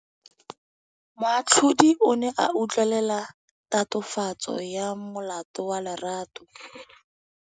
Moatlhodi o ne a utlwelela tatofatsô ya molato wa Lerato.